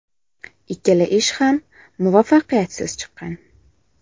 Ikkala ish ham muvaffaqiyatsiz chiqqan.